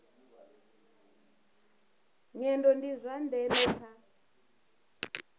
nyendo ndi zwa ndeme kha